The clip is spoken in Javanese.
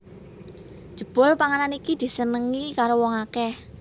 Jebul panganan iki disenengi karo wong akèh